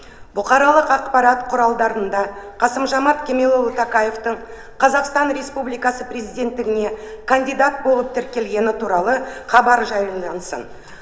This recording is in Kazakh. бұқаралық ақпарат құралдарында қасым жомарт кемелұлы тоқаевтың қазақстан республикасының президенттігіне кандидат болып тіркелгені туралы хабар жариялансын